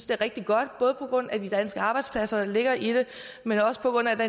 det er rigtig godt både på grund af de danske arbejdspladser der ligger i det men også på grund af den